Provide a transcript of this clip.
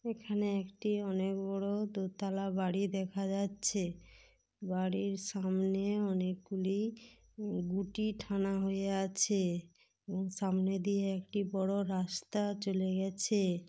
এখানে একটি অনেক বড় দোতলা বাড়ি দেখা যাচ্ছে বাড়ির সামনে অনেক গুলি হয়ে আছে সামনে দিয়ে একটি বড় রাস্তা চলে গেছে।